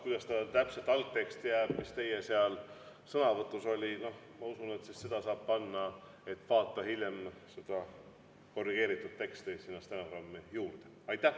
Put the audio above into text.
Kuidas ta täpselt algteksti jääb, mis teie sõnavõtus oli – ma usun, et selle, et vaata hiljem korrigeeritud teksti, saab panna sinna stenogrammi juurde.